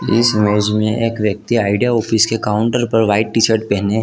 इस इमेज मैं एक व्यक्ति आइडिया ऑफिस के काउंटर पर वाइट टी-शर्ट पहनने --